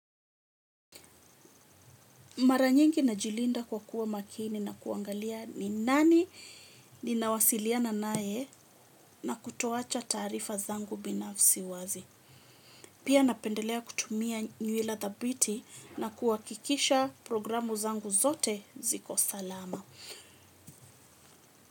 Mara nyingi najilinda kwa kuwa makini na kuangalia ni nani ninawasiliana naye na kutowacha taarifa zangu binafsi wazi. Pia napendelea kutumia nywila thabiti na kuakikisha programu zangu zote ziko salama.